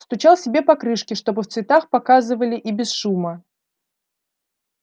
стучал себе по крышке чтобы в цветах показывали и без шума